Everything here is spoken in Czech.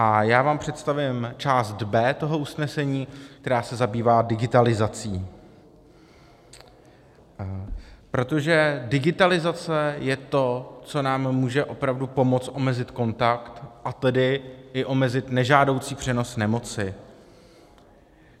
A já vám představím část B toho usnesení, která se zabývá digitalizací, protože digitalizace je to, co nám může opravdu pomoct omezit kontakt, a tedy omezit i nežádoucí přenos nemoci.